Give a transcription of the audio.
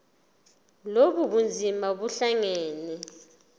lobu bunzima buhlangane